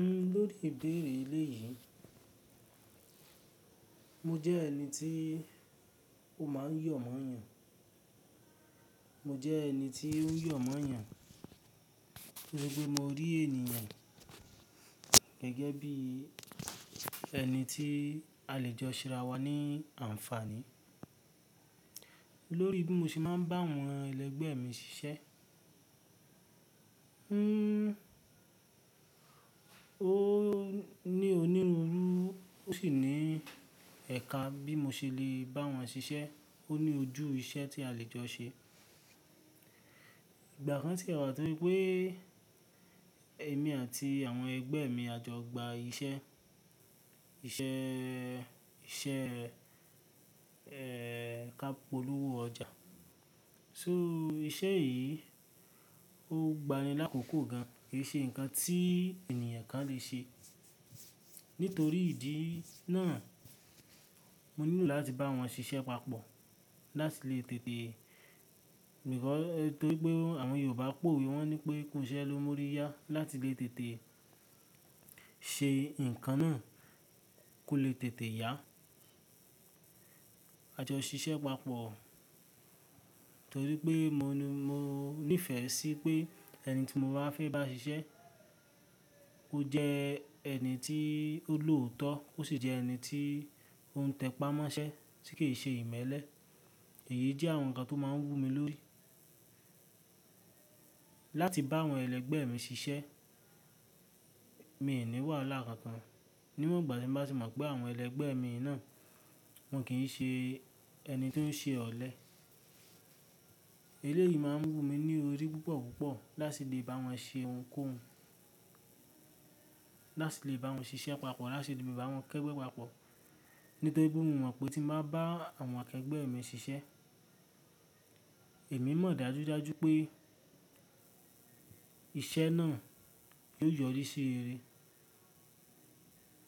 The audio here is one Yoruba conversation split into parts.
N lórí ìbéèrè eléyìí, mo jẹ́ ẹni tí ó máa ń yọ̀ mọ́ ènìyàn. Mo jẹ́ ẹni tí ó ń yọ̀ mọ́ ènìyàn, tori pe mo rí ènìyàn gẹ́gẹ́ bí ẹni tí a lè jọ ṣe arà wá ní àǹfààní. Lórí bí mo ṣe máa ń bá àwọn ẹlẹgbẹ́ mi ṣiṣẹ́, ó ní onírúurú ó sì ní ẹ̀ka bí mo ṣe lè bá wọn ṣiṣẹ́. Ó ní ojú iṣẹ́ tí a lè jọ ṣe. Ìgbà kan sì wà tó se pé èmi àti àwọn ẹgbẹ́ mi a jọ gba iṣẹ́, iṣẹ́ẹ́, iṣẹ́ ẹ́, ká polówó ọjà. So iṣẹ́ yìí, ó gbanin lákòókò gan-an, kì í ṣe nǹkan tí ènìyàn kan lè ṣe. Nítorí ìdí náà, mo nílò láti bá wọn ṣiṣẹ́ papọ̀ láti lè tètè-- nítorí pé àwọn Yorùbá powè, wọ́n ní pé "kú isẹ́ ló n mú oriyá" láti lè tètè ṣe nǹkan náà, kó le tètè yá. A jọ ṣiṣẹ́ papọ̀ torí pé mo ní, mo nífẹ̀ẹ́ sí pé ẹni tí mo bá fẹ́ bá ṣiṣẹ́, ó jẹ ẹni tí ó lòótọ́ ó sì jẹ́ ẹni tí ó ń tẹpá mọ́ṣẹ́ tí kì í ṣe ìmẹ́lẹ́. Èyí jẹ́ àwọn nǹkan tó máa ń wù mí lórí. Láti bá àwọn ẹlẹgbẹ́ mi ṣiṣẹ́, mi ò ní wàhala kankan. Níwon igbà tí n bá tì mọ̀ pé àwọn ẹlẹgbẹ́ mi yi náà, wọ́n kì í ṣe ẹni tó ń ṣe ọ̀lẹ. Eléyìí máa ń wù mí ní orí púpọ̀ púpọ̀ láti lè bá wọn ṣe ohunkóhun, láti lè bá wọn ṣiṣẹ́ papọ̀, láti lè bá wọn kẹ́gbẹ́ papọ̀. Nítorí pé mo mọ̀ pé tí n bá bá àwọn akẹgbẹ́ mi ṣiṣẹ́, èmi mọ̀ dájúdájú pé iṣẹ́ náà yóò yọrí sí rere.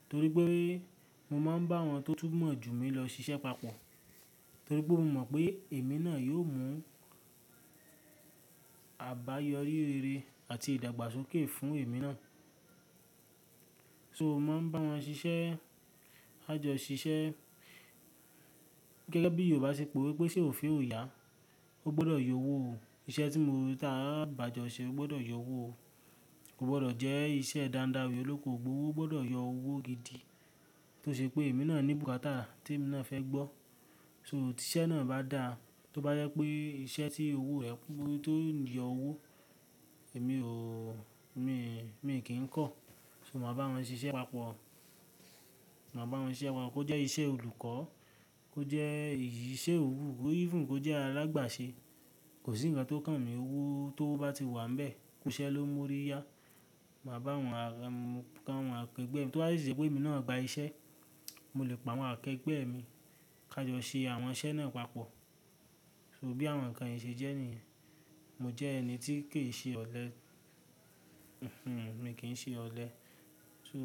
Torí pé mo máa ń bá àwọn tó túnmọ̀ jù mí lọ ṣiṣẹ́ papọ̀. Torí pé mo mọ̀ pé èmi náà yóò mú àbáyọrí rere àti ìdàgbàsókè fún èmi náà. So mo máa ń bá wọn ṣiṣẹ́, a o jọ ṣiṣẹ́ gẹ́gẹ́ bí Yorùbá ṣe powè pé "iṣe òfé ò yá", ó gbọ́dọ̀ yọ owó o. Iṣẹ́ tí mo, tí a o bá jọ ṣe ó gbọ́dọ̀ yọ owó o. Kò gbọ́dọ̀ jẹ́ iṣẹ́ dándáwi, olóko ogbowó, ó gbọ́dọ̀ yọ owó gidi. Tó ṣe pé èmi náà ní bùkátà tí èmi náà fẹ́ gbọ́. So tí iṣẹ́ náà bá dáa, tó bá jẹ pé iṣẹ́ tí owó rẹ̀ tó ń yọ owó, èmi ò, mi, mi o kì í kọ̀. So mo máa bá wọn ṣiṣẹ́ papọ̀. Mo máa bá wọn ṣiṣẹ́ pápo-- kó jẹ́ iṣẹ́ olùkọ́, kó jẹ́ iṣẹ́ òwú, even kó jẹ́ alàgbàṣe. Kò sí nǹkan tó kàn mí, owó tó bá ti wà níbẹ̀, kú iṣẹ́ ló n mú oriyá. Màá bá àwọn àwọn akẹgbẹ́ mi, tó bá de jé pé èmi náà gba iṣẹ́, mo lè bá àwọn akẹgbẹ́ mi ká jọ ṣe àwọn iṣẹ́ náà papọ̀. So bí àwọn nǹkan yìí ṣe jẹ́ ní, mo jẹ́ ẹni tí kì í ṣe ọ̀lẹ. Mi o kì í ṣe ọ̀lẹ. So.